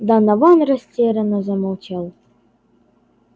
донован растерянно замолчал